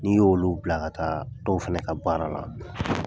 N'i y'olu bila ka taa dɔw fɛnɛ ka baara la.